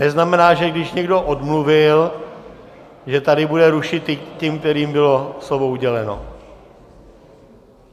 Neznamená, že když někdo odmluvil, že tady bude rušit ty, kterým bylo slovo uděleno.